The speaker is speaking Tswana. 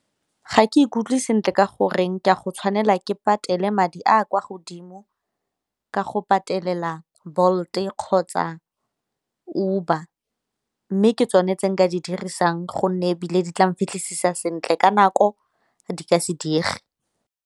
Ga ke ikutlwe sentle ka goreng ka go tshwanela ke go patele madi a a kwa godimo, ka go patelela Bolt kgotsa Uber. Mme ke tsone tse nka di dirisang gonne ebile di tla nfitlhisisisa sentle ka nako di ka se diege.